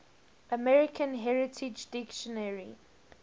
american heritage dictionary